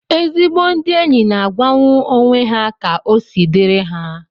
Ezigbo ndị enyi na-agwanwu onwe ha ka osi diri ha